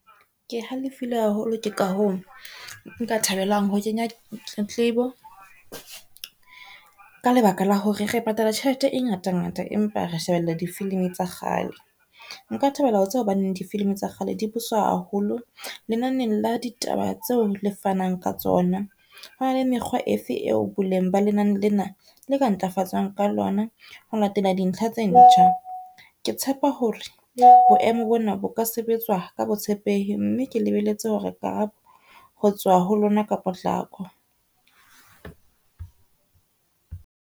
Ke halefile haholo ke ka hoo nka thabelang ho kenya tletlebo, ka lebaka la hore re patala tjhelete e ngata ngata, empa re shebella di-film tsa kgale. Nka thabela ho tseba hobaneng di-film tsa kgale di haholo lenaneng la ditaba tseo le fanang ka tsona. Hona le mekgwa efe eo boleng ba lenane lena la ka ntlafatsang ka lona ho latela di ntlha tse ntjha. Ke tshepa hore boemo bona bo ka sebetswa ka botshepehi mme ke lebeletse hore karabo ho tswa ho lona ka potlako.